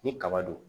Ni kaba do